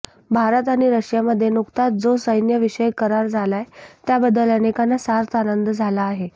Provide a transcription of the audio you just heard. भारत आणि रशियामध्ये नुकताच जो सैन्यविषयक करार झालाय त्याबद्दल अनेकांना सार्थ आनंद झाला आहे